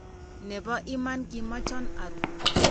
ne bo iman kimechan aru..